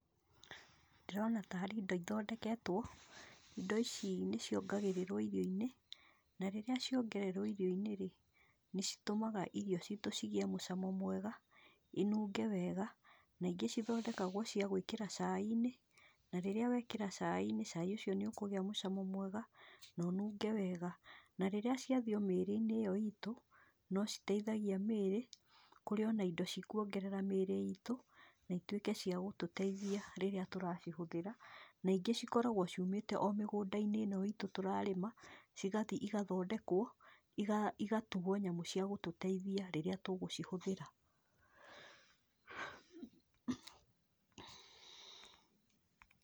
Ndĩrona tarĩ indo ithondeketwo, indo ici nĩciongagĩrĩrwo irio-inĩ, na rĩrĩa ciongererwo irio-inĩ-rĩ, nĩcitũmaga irio citũ cigĩe mũcamo mwega, inunge wega, na ingĩ cithondekagwo cia gwĩkĩra cai-inĩ, na rĩrĩa wekĩra cai-inĩ cai ũcio nĩũkũgĩa mũcamo mwega, no nunge wega, na rĩrĩa ciathiĩ mĩrĩ-inĩ ĩyo itũ, nociteithagia mĩrĩ, kũrĩ ona indo cikuongerera mĩrĩ itũ, na ituĩke cia gũtũteithia rĩrĩa tũracihũthĩra, na ingĩ cikoragwo ciumĩte o mĩgũnda-inĩ ĩno itũ tũrarĩma, cigathiĩ igathondekwo, i igatugwo nyamũ cia gũtũteithia rĩrĩa tũgũcihũthĩra.